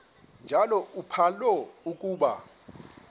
njalo uphalo akuba